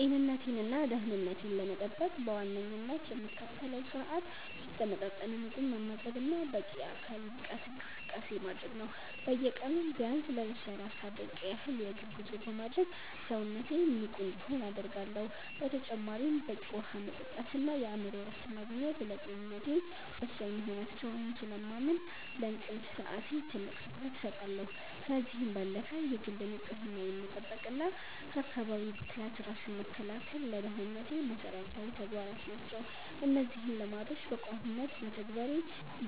ጤንነቴንና ደህንነቴን ለመጠበቅ በዋነኝነት የምከተለው ስርአት የተመጣጠነ ምግብ መመገብና በቂ የአካል ብቃት እንቅስቃሴ ማድረግ ነው። በየቀኑ ቢያንስ ለሰላሳ ደቂቃ ያህል የእግር ጉዞ በማድረግ ሰውነቴ ንቁ እንዲሆን አደርጋለሁ። በተጨማሪም በቂ ውሃ መጠጣትና የአእምሮ እረፍት ማግኘት ለጤንነቴ ወሳኝ መሆናቸውን ስለማምን፣ ለእንቅልፍ ሰዓቴ ትልቅ ትኩረት እሰጣለሁ። ከዚህም ባለፈ የግል ንጽህናን መጠበቅና ከአካባቢ ብክለት ራስን መከላከል ለደህንነቴ መሰረታዊ ተግባራት ናቸው። እነዚህን ልማዶች በቋሚነት መተግበሬ